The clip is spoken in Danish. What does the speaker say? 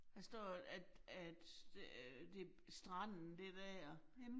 Der står, at, at øh det stranden det dér